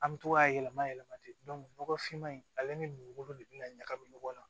An bɛ to k'a yɛlɛma yɛlɛma ten nɔgɔfinma in ale ni dugukolo de bɛna ɲagami ɲɔgɔn na